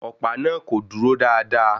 Ọ̀pá náà kò dúró dáadáa